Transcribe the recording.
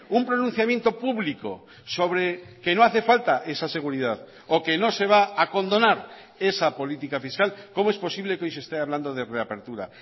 un pronunciamiento público sobre que no hace falta esa seguridad o que no se va a condonar esa política fiscal cómo es posible que hoy se esté hablando de reapertura